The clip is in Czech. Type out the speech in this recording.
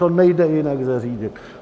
To nejde jinak zařídit.